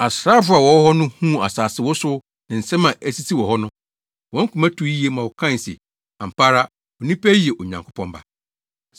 Asraafo a wɔwɔ hɔ no huu asase wosow ne nsɛm a esisii wɔ hɔ no, wɔn koma tuu yiye ma wɔkae se, “Ampa ara, onipa yi yɛ Onyankopɔn Ba.”